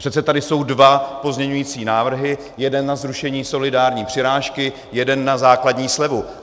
Přece tady jsou dva pozměňující návrhy, jeden na zrušení solidární přirážky, jeden na základní slevu.